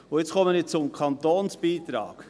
Jetzt komme ich zum Kantonsbeitrag: